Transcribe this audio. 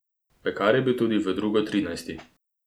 Pekar je bil tudi v drugo trinajsti.